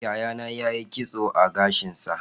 Yayana ya yi kitso a gashinsa.